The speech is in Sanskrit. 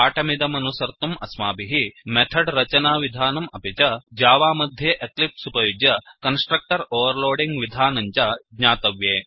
पाठमिदमनुसर्तुम् अस्माभिः मेथड् रचनाविधानम् अपि च जावा मध्ये एक्लिप्स् उपयुज्य कन्स्ट्रक्टर् ओवर्लोडिङ्ग् विधानं च ज्ञातव्ये